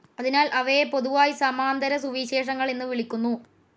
അതിനാൽ അവയെ പൊതുവായി സമാന്തരസുവിശേഷങ്ങൾ എന്നു വിളിക്കുന്നു.